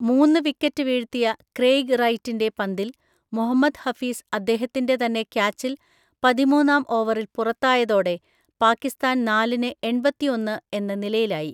മൂന്ന് വിക്കറ്റ് വീഴ്ത്തിയ ക്രെയ്ഗ് റൈറ്റിന്റെ പന്തിൽ മുഹമ്മദ് ഹഫീസ് അദ്ധേഹത്തിന്റെ തന്നെ ക്യാച്ചില്‍ പതിമൂന്നാം ഓവറില്‍ പുറത്തായതോടെ പാകിസ്താന്‍ നാലിന് എൺപതിഒന്ന്‌ എന്ന നിലയിലായി.